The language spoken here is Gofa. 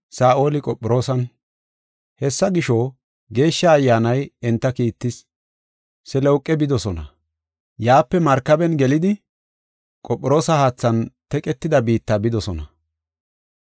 Hessa gisho, Geeshsha Ayyaanay enta kiittis. Selewuqe bidosona; yaape markaben gelidi Qophiroosa haathan teqetida biitta bidosona.